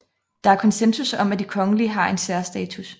Der er konsensus om at de kongelige har en særstatus